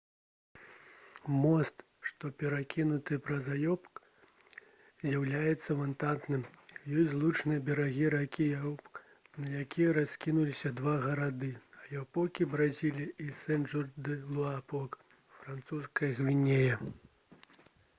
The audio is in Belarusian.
мост што перакінуты праз аяпок з'яўляецца вантавым. ён злучае берагі ракі аяпок на якіх раскінуліся два гарады — аяпокі бразілія і сен-жорж-дэ-луапок французская гвіяна